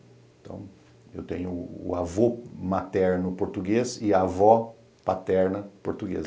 Então, eu tenho o avô materno português e a avó paterna portuguesa.